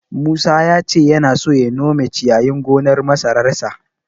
Musa ya ce yana so ya nome ciyayin gonar masararsa.